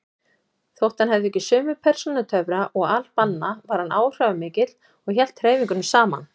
Þótt hann hefði ekki sömu persónutöfra og al-Banna var hann áhrifamikill og hélt hreyfingunni saman.